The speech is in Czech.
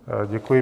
Děkuji.